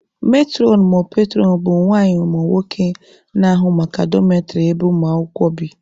Metụrọn/petụrọn bụ nwanyị/nwoke na-ahụ maka dọmetrị ebe ụmụ akwụkwọ bi.